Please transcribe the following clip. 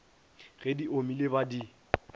ge di omile ba di